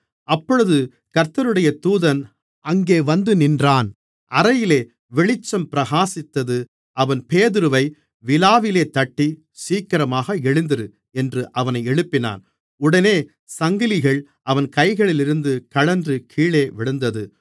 அப்பொழுது கர்த்தருடைய தூதன் அங்கே வந்துநின்றான் அறையிலே வெளிச்சம் பிரகாசித்தது அவன் பேதுருவை விலாவிலே தட்டி சீக்கிரமாக எழுந்திரு என்று அவனை எழுப்பினான் உடனே சங்கிலிகள் அவன் கைகளிலிருந்து கழன்று கீழே விழுந்தது